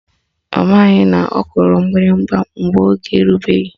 Ọ maghị na ọ kụrụ mgbịrịgba mgbe oge erubeghị